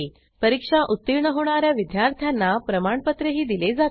परीक्षा उत्तीर्ण होणा या विद्यार्थ्यांना प्रमाणपत्रही दिले जाते